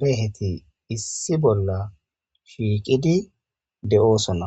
leheti issi bolla shiiqidi de;oosona.